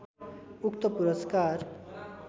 उक्त पुरस्कार